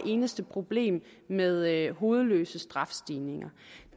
eneste problem med hovedløse strafskærpelser